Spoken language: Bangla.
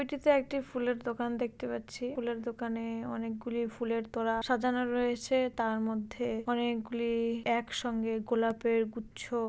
ছবিটিতে একটি ফুলের দোকান দেখতে পাচ্ছি। ফুলের দোকানে-এ অনেকগুলি ফুলের তোড়া সাজানো রয়েছে তার মধ্যে অনেকগুলি একসঙ্গে গোলাপের গুচ্ছ --